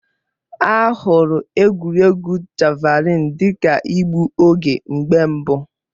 A hụrụ egwuregwu Javalịn dị ka igbu oge mgbe mbụ.